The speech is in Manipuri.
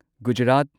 ꯒꯨꯖꯔꯥꯠ